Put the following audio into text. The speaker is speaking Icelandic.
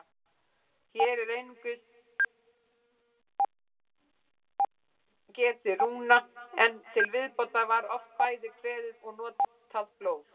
Hér er einungis getið rúna, en til viðbótar var oft bæði kveðið og notað blóð.